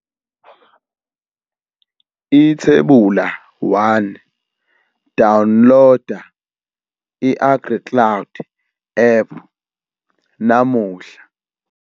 Ithebula 1- Dawunloda i-AgriCloud app namuhla.